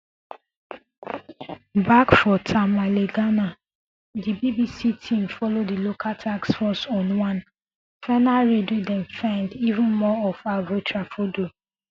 back for tamale ghana di bbc team follow di local task force on one final raid wey dem find even more of aveo tafrodol